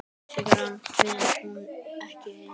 Sigrana vann hún ekki ein.